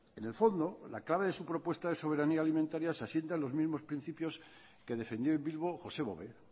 en el fondo la clave de su propuesta de soberanía alimentaria se asienta en los mismos principios que defendió en bilbo josé bové